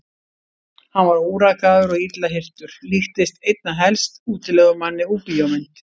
Hann var órakaður og illa hirtur, líktist einna helst útilegumanni úr bíómynd.